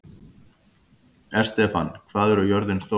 Estefan, hvað er jörðin stór?